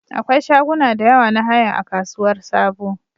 Akwai shaguna da yawa na haya a Kasuwar Sabo